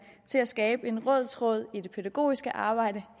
til at skabe en rød tråd i det pædagogiske arbejde